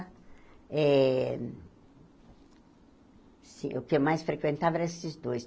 Eh o que mais frequentava era esses dois.